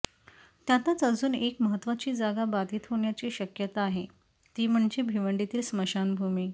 त्यातच अजून एक महत्त्वाची जागा बाधित होण्याची शक्यता आहे ती म्हणजे भिवंडीतील स्मशानभूमी